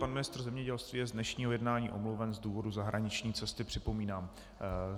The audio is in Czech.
Pan ministr zemědělství je z dnešního jednání omluven z důvodu zahraniční cesty, připomínám.